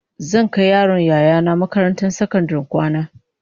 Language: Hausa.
Zan kai yaron Yaya nah makarantar sakandaren kwana